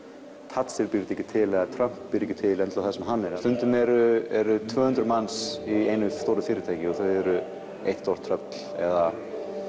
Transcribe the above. Thatcher býr þetta ekki til eða Trump býr ekki til það sem hann er stundum eru eru tvö hundruð manns í einu stóru fyrirtæki og þau eru eitt stórt tröll eða